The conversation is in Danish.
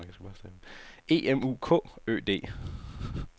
E M U K Ø D